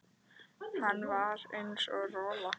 Hann var eins og rola.